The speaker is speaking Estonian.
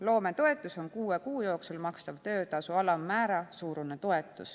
Loometoetus on kuue kuu jooksul makstav töötasu alammäära suurune toetus.